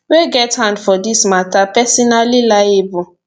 wey get hand for dis mata personally liable